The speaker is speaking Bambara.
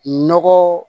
Nɔgɔ